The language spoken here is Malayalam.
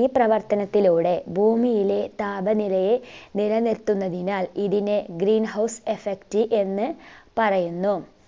ഈ പ്രവർത്തനത്തിലൂടെ ഭൂമിയിലെ താപനിലയെ നില നിർത്തുന്നതിനാൽ ഇതിനെ green house effect എന്ന് പറയുന്നു